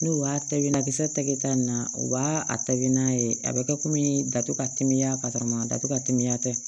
N'o y'a ta binna kisɛ tɛ kɛ ta in na u b'a tabi n'a ye a bɛ kɛ komi datugu ka timiya ka taa datugu ka timiya kɛ